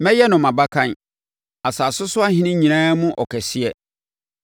Mɛyɛ no mʼabakan, asase so ahene nyinaa no mu ɔkɛseɛ.